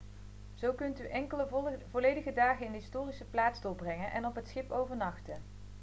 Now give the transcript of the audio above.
zo kunt u enkele volledige dagen in de historische plaats doorbrengen en op het schip overnachten